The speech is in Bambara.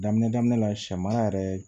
Daminɛ daminɛ la sɛ mara yɛrɛ